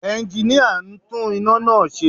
Ẹnginíà ń tún iná náà ṣe